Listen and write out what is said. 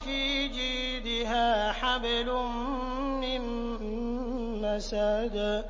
فِي جِيدِهَا حَبْلٌ مِّن مَّسَدٍ